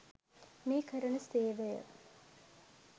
මේ කරන සේවය